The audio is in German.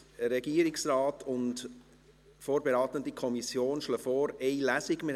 Der Regierungsrat und die vorberatende Kommission schlagen vor, eine Lesung abzuhalten.